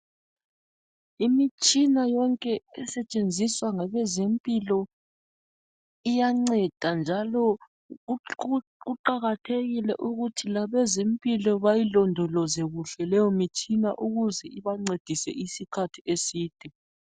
Imitshina yonke esetshenziswa ngabezempilakahle iyanceda njalo kuqakathekile ukuthi bayilondoloze kuhle leyo mitshina ukuze ibancedise isikhathi eside.